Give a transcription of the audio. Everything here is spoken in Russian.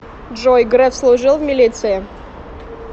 джой греф служил в милиции